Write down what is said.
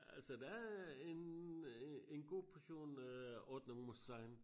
Altså der er en øh en en god portion øh ordnung muss sein